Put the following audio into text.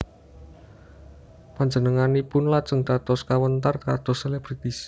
Panjenenganipun lajeng dados kawentar kados selebritis